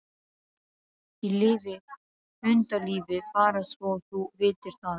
Ég lifi hundalífi, bara svo þú vitir það.